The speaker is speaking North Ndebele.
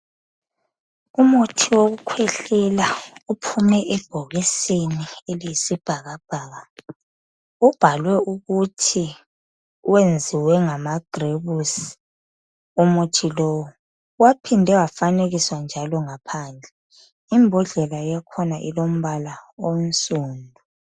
Umuthi wokukhwehlela uphume ebhokisini eliyisibhakabhaka. Ubhalwe ukuthi wenziwe ngama grebusi umuthi lowu. Waphinde wafanekiswa njalo ngaphandle Imbodlela yakhona ilombala onsundu.